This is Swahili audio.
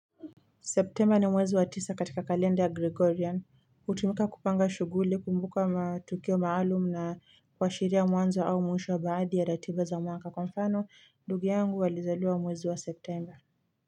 September ni mwezi wa tisa katika kalenda ya gregorian. Hutumika kupanga shughuli kumbuka matukio maalum na kuashiria mwanzo au mwisho wa baadhi ya ratiba za mwaka, kwa mfano ndugu yangu alizaliwa mwezi wa september.